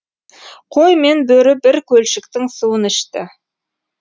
қой мен бөрі бір көлшіктің суын ішті